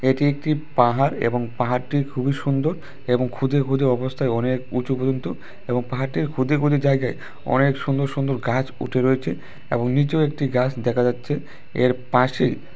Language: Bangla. এটি একটি পাহাড় এবং পাহাড়টির খুবই সুন্দর এবং খুদে খুদে অবস্থায় অনেক উঁচু পর্যন্ত এবং পাহাড়টির খুদে খুদে জায়গায় অনেক সুন্দর সুন্দর গাছ উঠে রয়েছে এবং নীচেও একটি গাছ দেখা যাচ্ছে এর পাশে--